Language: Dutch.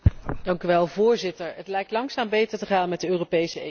Voorzitter, het lijkt langzaam beter te gaan met de Europese economie.